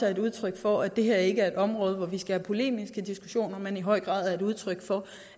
er udtryk for at det her ikke er et område hvor vi skal have polemiske diskussioner men i høj grad er udtryk for